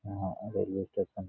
यहां railway station --